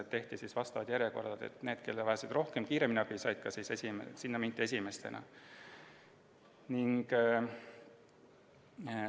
Tehti vastavad järjekorrad, ja nende juurde, kes vajasid kiiremini abi, mindi esimesena.